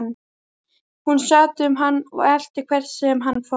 Hún sat um hann og elti hvert sem hann fór.